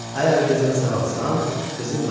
Əgər qızını sağaltsam, qızım mənimdi.